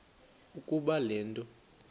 ukuba le nto